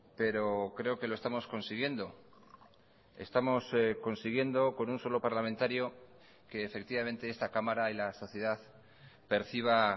pero creo que lo estamos consiguiendo estamos consiguiendo con un solo parlamentario que efectivamente esta cámara y la sociedad perciba